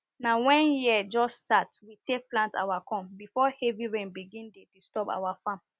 na when year just start we take plant our corn before heavy rain begin dey disturb our farm